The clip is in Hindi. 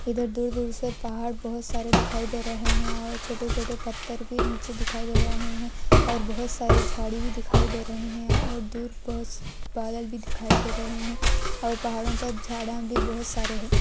इधर दूर-दूर से पहाड़ बहोत सारे दिखाई दे रहे है |आउ छोटे-छोटे पत्थर भी निचे दिखाई दे रहे है और बहुत सारी झाड़ी भी दिखाई दे रहे है और दूर बस बादल भी दिखाई दे रहे है और पहाड़ो पर झाड़या भी बहोत सारे है।